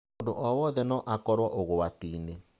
Mũndũ o wothe no akorũo ũgwati-inĩ.